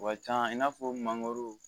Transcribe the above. O ka can i n'a fɔ mangoro